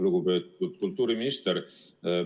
Lugupeetud kultuuriminister!